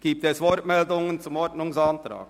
Gibt es Wortmeldungen zum Ordnungsantrag?